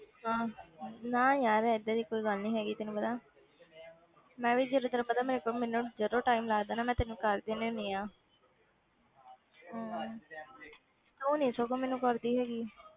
ਹਾਂ ਨਾ ਯਾਰ ਏਦਾਂ ਦੀ ਕੋਈ ਗੱਲ ਨੀ ਹੈਗੀ ਤੈਨੂੰ ਪਤਾ ਮੈਂ ਵੀ ਜਦੋਂ ਤੈਨੂੰ ਪਤਾ ਮੇਰੇ ਕੋਲ ਮੈਨੂੰ ਜਦੋਂ time ਲੱਗਦਾ ਨਾ ਮੈਂ ਤੈਨੂੰ ਕਰ ਦਿੰਦੀ ਹੁੰਦੀ ਹਾਂ ਹਮ ਤੂੰ ਨੀ ਸਗੋਂ ਮੈਨੂੰ ਕਰਦੀ ਹੈਗੀ।